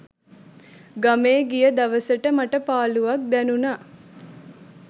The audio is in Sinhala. ගමේ ගිය දවසට මටපාළුවක් දැනුනා.